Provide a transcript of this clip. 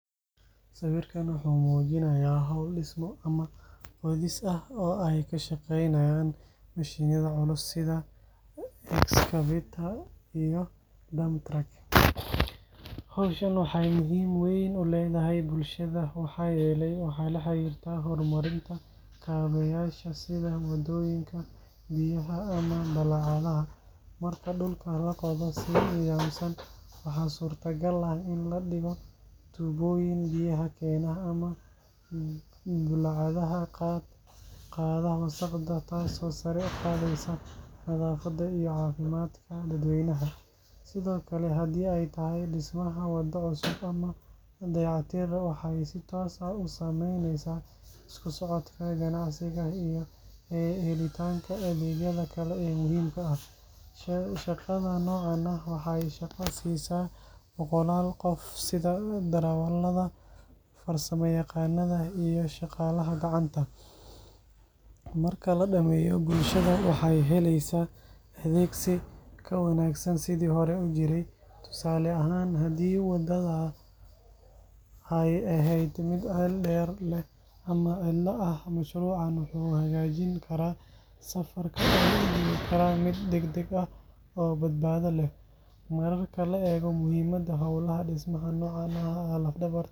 Sawirkan waxa uu muujinayaa hawl dhismo ama qodis ah oo ay ka shaqeynayaan mishiinada culus sida excavator iyo dump truck. Hawshan waxay muhiim weyn u leedahay bulshada maxaa yeelay waxay la xiriirtaa horumarinta kaabeyaasha sida waddooyinka, biyaha, ama bullaacadaha. Marka dhulka la qodo si nidaamsan waxaa suurtagal ah in la dhigo tuubooyin biyaha keena ama bullaacadaha qaada wasakhda taasoo sare u qaadaysa nadaafadda iyo caafimaadka dadweynaha. Sidoo kale haddii ay tahay dhismaha waddo cusub ama dayactir, waxay si toos ah u saameyneysaa isku socodka, ganacsiga, iyo helitaanka adeegyada kale ee muhiimka ah. Shaqada noocan ah waxay shaqo siisaa boqolaal qof sida darawallada, farsamayaqaannada, iyo shaqaalaha gacanta. Marka la dhameeyo, bulshada waxay heleysaa adeeg si ka wanaagsan sidii hore u jiray. Tusaale ahaan, haddii waddada ay ahayd mid ceel dheer leh ama cidla ah, mashruucan wuxuu hagaajin karaa safarka oo u dhigi kara mid degdeg ah oo badbaado leh. Marka la eego muhiimadda, hawlaha dhismaha noocan ah waa laf-dhabarta horumarka.